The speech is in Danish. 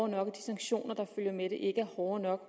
nok de sanktioner der følger med er ikke hårde nok